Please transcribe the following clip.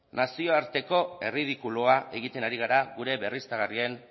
nazioarteko erridikulua egiten ari gara gure berriztagarrien